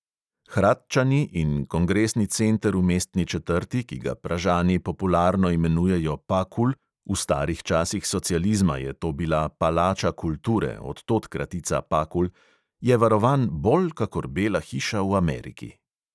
Hradčani in kongresni center v mestni četrti, ki ga pražani popularno imenujejo pakul – v starih časih socializma je to bila palača kulture, od tod kratica pakul –, je varovan bolj kakor bela hiša v ameriki.